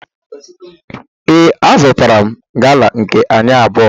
Ee, azụtara m gala nke anyị abụọ